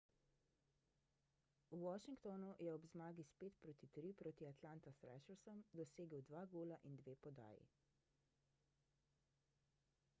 v washingtonu je ob zmagi s 5:3 proti atlanta thrashersom dosegel 2 gola in 2 podaji